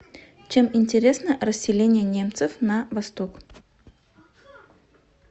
чем интересна расселение немцев на восток